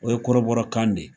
O ye kɔrɔbɔrɔ kan de